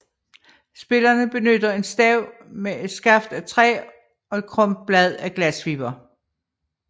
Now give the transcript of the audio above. Spillerne benytter en stav med et skaft af træ og et krumt blad af glasfiber